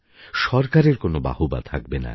সরকারের কোনও বাহবা থাকবে না